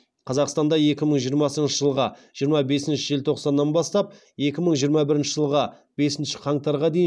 қазақстанда екі мың жиырмасыншы жылғы жиырма бесінші желтоқсаннан бастап екі мың жиырма бірінші жылғы бесінші қаңтарға дейін